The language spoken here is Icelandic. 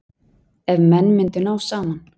Ef menn myndu ná saman.